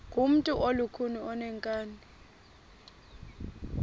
ngumntu olukhuni oneenkani